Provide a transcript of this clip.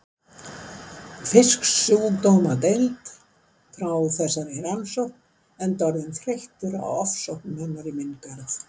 Fisksjúkdómanefnd frá þessari rannsókn enda orðinn þreyttur á ofsóknum hennar í minn garð.